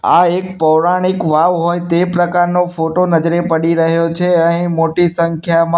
આ એક પૌરાણિક વાવ હોય તે પ્રકારનો ફોટો નજરે પડી રહ્યો છે અહીં મોટી સંખ્યામાં--